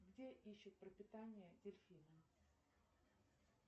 где ищут пропитание дельфины